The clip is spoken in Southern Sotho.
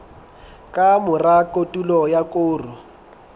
ka mora kotulo ya koro